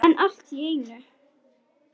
En allt í einu.